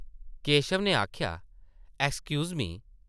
केशव नै आखेआ, ‘‘excuse me ।’’